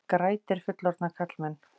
Grætir fullorðna karlmenn